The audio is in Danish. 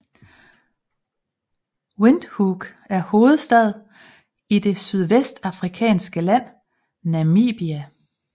Windhoek er hovedstad i det sydvestafrikanske land Namibia